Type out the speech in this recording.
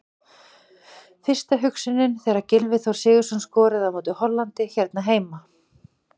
Fyrsta hugsunin þegar Gylfi Þór Sigurðsson skoraði á móti Hollandi hérna heima?